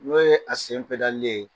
N'o ye a sen ye